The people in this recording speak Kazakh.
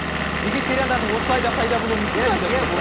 вегетариандардың осылай да пайда болуы мүмкін бе